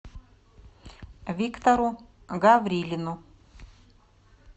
виктору гаврилину